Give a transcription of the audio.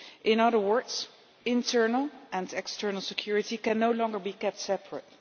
In other words, internal and external security can no longer be kept separate.